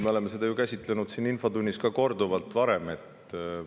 Me oleme seda teemat ju korduvalt käsitlenud ka siin infotunnis.